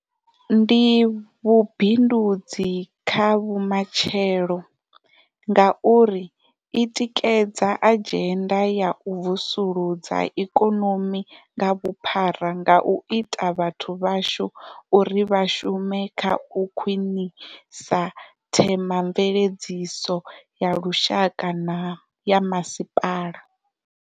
Ndi vhu bindudzi kha vhumatshelo, ngauri i tikedza adzhenda ya u vusuludza ikonomi nga vhuphara nga u ita vhathu vhashu uri vha shume kha u khwiṋisa themamveledziso ya lushaka na ya masipala.